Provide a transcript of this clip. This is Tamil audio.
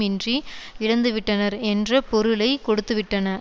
இன்றி இழந்துவிட்டனர் என்ற பொருளை கொடுத்துவிட்டன